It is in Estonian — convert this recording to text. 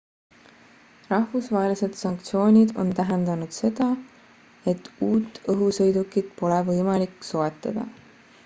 rahvusvahelised sanktsioonid on tähendanud seda et uut õhusõidukit pole võimalik soetada